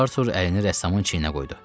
Artur əlini rəssamın çiyninə qoydu.